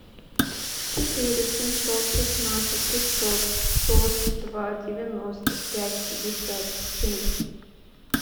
четыре семьсот шестнадцать пятьсот сорок два девяносто пять пятьдесят семь